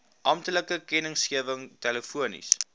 amptelike kennisgewing telefonies